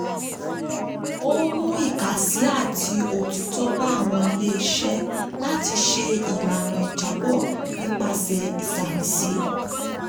ó ń mú ìkàsí àti òtítọ́ bá àwọn ilé-iṣẹ́ láti ṣe ìlànà ìjábọ̀ nípasẹ̀ ìṣàmìsí.